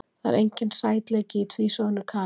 Það er enginn sætleiki í tvísoðnu kali.